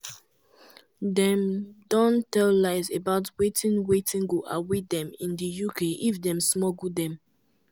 dem don tell lies about wetin wetin go await dem in di uk if dem smuggle dem".